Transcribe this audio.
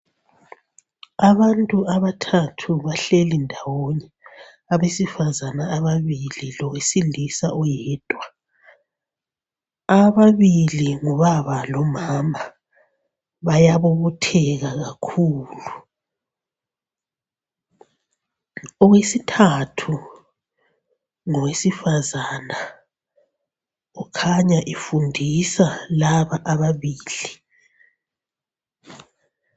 Abantu abathathu bahleli ndawonye abesifazana ababili lowesilisa oyedwa, ababili ngubaba lomama bayabobotheka kakhulu. Owesithathu ngowesifazana kukhanya efundisa laba ababili.